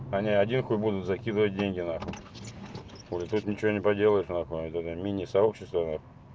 они один хуй будут закидывать деньги нахуй хули тут ничего не поделаешь нахуй вот это мини сообщество нах